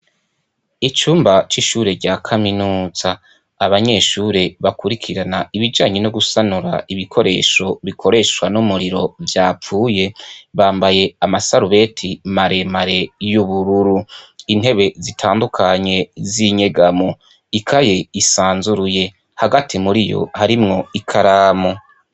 Icumba c'ishure rya Kaminuza. Abanyeshure bakurikirana ibijanye nugusanura ibikoresho bikoreshwa n'umuriro vyapfuye, bambaye amasarubeti maremare y'ubururu, intebe zitandukanye z'inyegamo, ikaye isanzuruye, hagati muriyo harimwo ikaramu.